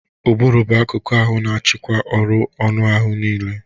Ụbụrụ bụ akụku ahụ na-achịkwa ọrụ anụ ahu niile.